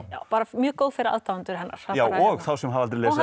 bara mjög góð fyrir aðdáendur hennar já og þá sem hafa aldrei lesið